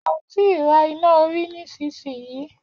A ò tí ra iná orí nísinsìnyí.